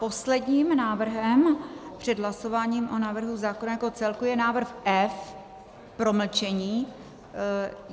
Posledním návrhem před hlasováním o návrhu zákona jako celku je návrh F - promlčení.